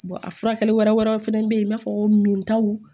a furakɛli wɛrɛw fɛnɛ be yen i b'a fɔ ko min taw